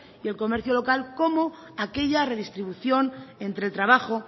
y el comercio local como aquella redistribución entre el trabajo